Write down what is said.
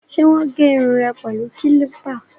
Ṣé wọ́n gé irun rẹ pẹ̀lú kílípà?